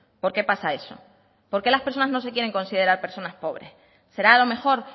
por qué pasa eso por qué las personas no se quieren considerar personas pobres será a lo mejor